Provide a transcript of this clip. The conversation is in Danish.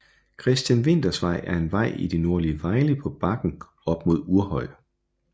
Christian Winthers Vej er en vej i det nordlige Vejle på bakken op mod Uhrhøj